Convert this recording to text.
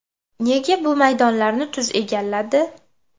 Nega bu maydonlarni tuz egalladi?